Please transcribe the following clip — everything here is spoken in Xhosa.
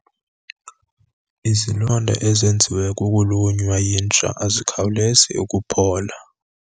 Izilonda ezenziwe kukulunywa yinja azikhawulezi ukuphola.